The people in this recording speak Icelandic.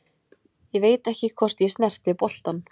Ég veit ekki hvort ég snerti boltann.